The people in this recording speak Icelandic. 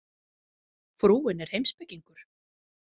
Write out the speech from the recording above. Frúin er heimspekingur.